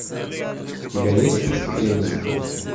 у тебя есть преступление